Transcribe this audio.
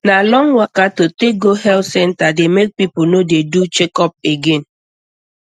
na long waka to take go health center dey make people no dey do checkup again